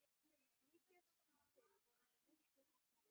Líkast til vorum við miklu heppnari.